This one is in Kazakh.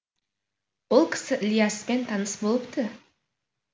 ол кісі ілияспен таныс болыпты